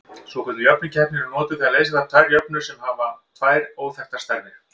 Svokölluð jöfnuhneppi eru notuð þegar leysa þarf tvær jöfnur sem hafa tvær óþekktar stærðir.